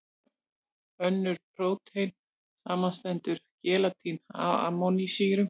Eins og önnur prótein, samanstendur gelatín af amínósýrum.